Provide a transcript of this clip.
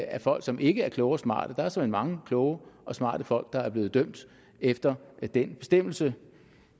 er folk som ikke er kloge og smarte der er såmænd mange kloge og smarte folk der er blevet dømt efter den bestemmelse